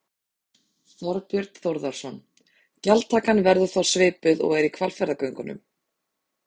Þorbjörn Þórðarson: Gjaldtakan verður þá svipuð og er í Hvalfjarðargöngum?